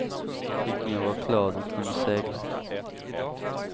Riktningen var klar, de kunde segla.